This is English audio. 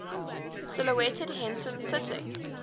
silhouetted henson sitting